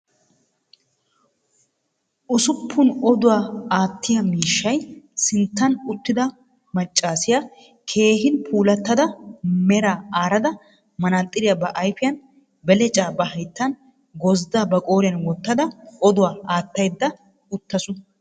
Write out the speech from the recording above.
Usuppun odduwa attiya mishshayi sinttan uttido macaasiya keehin pulatadda meera arada manaxxiriya ba ayifiyan, belecca ba hayittan, gozzida ba qooriyan wootada oduwaa attayida ututtaasu.